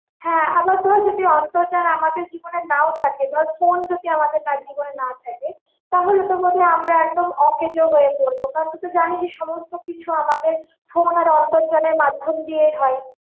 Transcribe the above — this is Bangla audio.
হ্যাঁ আবার ধর যদি অন্তর্জাল আমাদের জীবনে নাও থাকে ধর phone যদি আমাদের জীবনে নাও থাকে, তাহলে তো বোধ হয় আমরা একদম অকেজো হয়ে পড়বো, কারণ তুই তো জানিই সমস্ত কিছু আমাদের phone আন্তর্জালের মাধ্যম দিয়ে হয়।